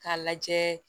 K'a lajɛ